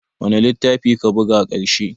Wane littafi ka buga ƙarshe?